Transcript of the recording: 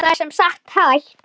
Það er sem sagt hægt.